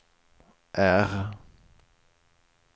R